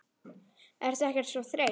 Ertu ekkert svo þreytt?